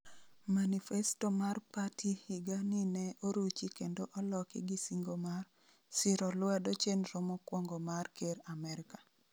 manifesto mar pati higa ni ne oruchi kendo oloki gi singo mar " siro lwedo chenro mokwongo mar Ker Amerka "